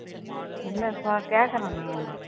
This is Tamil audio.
என்ன இப்போ கேட்குறேன் நான் உங்களை.